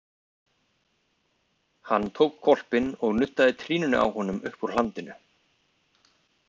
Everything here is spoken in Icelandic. Hann tók hvolpinn og nuddaði trýninu á honum uppúr hlandinu.